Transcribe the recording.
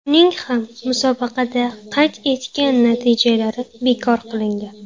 Uning ham musobaqada qayd etgan natijalari bekor qilingan.